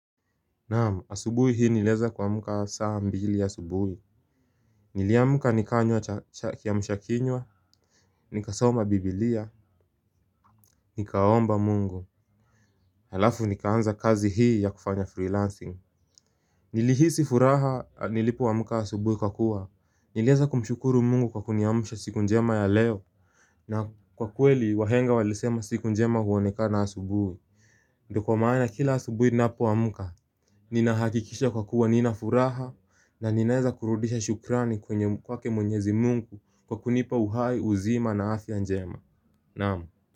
Naam, asubuhi hii niliweza kuamka saa mbili asubuhi Niliamka nikanywa kiamshakinywa, nikasoma bibilia, nikaomba mungu Halafu nikaanza kazi hii ya kufanya freelancing Nilihisi furaha nilipoamka asubuhi kwa kuwa, nilianza kumshukuru mungu kwa kuniamsha siku njema ya leo na kwa kweli wahenga walisema siku njema huonekana asubuhi Ndio kwa maana kila asubuhi ninapoamka Ninahakikisha kwa kuwa nina furaha na ninaeza kurudisha shukrani kwenye kwake mwenyezi mungu kwa kunipa uhai uzima na afya njema Naam.